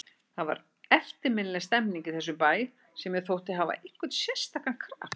Það var eftirminnileg stemmning í þessum bæ sem mér þótti hafa einhvern sérstakan kraft.